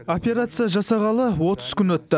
операция жасағалы отыз күн өтті